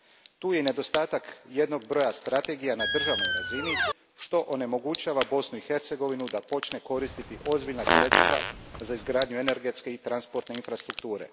Tu je i nedostatak jednog broja strategija na državnoj razini što onemogućava Bosnu i Hercegovinu da počne koristiti ozbiljna sredstva za izgradnju energetske i transportne infrastrukture.